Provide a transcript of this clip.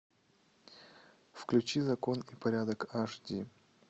включи закон и порядок аш ди